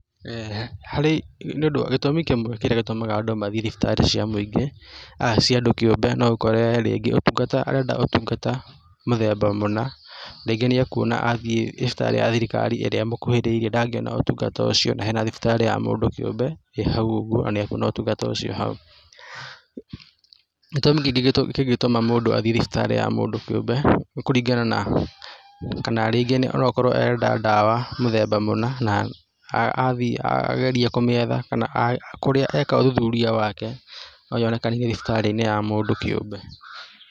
Harĩ, nĩ ũndũ gĩtumi kĩmwe gĩtũmaga andũ mathiĩ thibitarĩ cia mũingĩ aa cia andũ kĩũmbe no ũkore rĩngĩ ũtungata arenda ũtungata mũthemba mũna rĩngĩ nĩekwona athiĩ thibitarĩ ya thirikari ĩrĩa ĩmũkuhĩrĩirie ndangĩona ũtungata ũcio na hena thibitarĩ ya mũndũ kĩũmbe ĩĩ hau ũguo na kwĩna ũtungata ũcio hau. Gĩtumi kĩngĩ kĩngĩtũma mũndũ athiĩ thibitarĩ ya mũndũ kĩũmbe nĩ kũringana na kana rĩngĩ akorwo arenda dawa mũthemba mũna na athiĩ na ageria kũmĩetha kana kũrĩa eka ũthuthuria wake noyonekanire thibitarĩ ya mũndũ kĩũmbe.